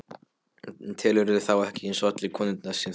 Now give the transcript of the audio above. Telurðu þá ekki eins og allar konurnar sem þú?